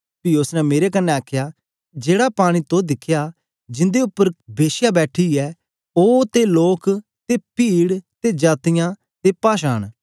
पी उस्स ने मेरे कन्ने आखया जेड़े पानी तो दिखे जिंदे उपर के श्या बैठी ऐ ओ ते लोक ते पीड ते जातीयां ते पाषाये न